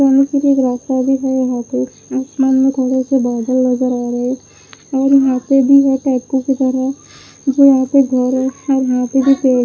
जाने के लिए एक रास्ता भी है यहां पे आसमान से बादल नजर आ रहे हैं और यहां पे भी है टेपू की तरह यहां पे घर है और हाथ भी --